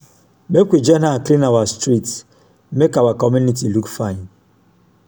make we join hand clean our street make our community look fine